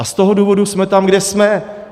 A z toho důvodu jsme tam, kde jsme.